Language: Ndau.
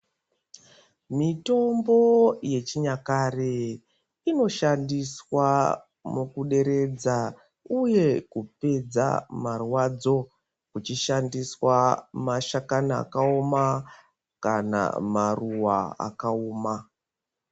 Mitombo ye chinyakare ino shandiswa muku deredza uye kupedza marwadzo kuchi shandiswa ma hlakani aka woma kana maruva aka woma.